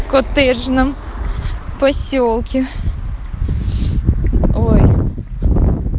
коттеджном посёлке ой